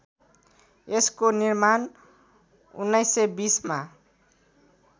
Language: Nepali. यसको निर्माण १९२० मा